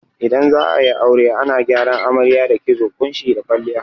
Idan za'ayi aure ana gyaran amarya da kitso, ƙunshi da kwalliya